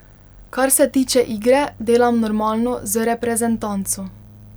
Kar se tiče igre, delam normalno z reprezentanco.